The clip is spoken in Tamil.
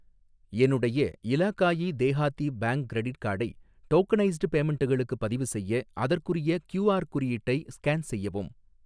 என்னுடைய இலாகாயி தேஹாதி பேங்க் கிரெடிட் கார்டை டோகனைஸ்டு பேமென்ட்களுக்கு பதிவுசெய்ய, அதற்குரிய கியூ ஆர் குறியீட்டை ஸ்கேன் செய்யவும்.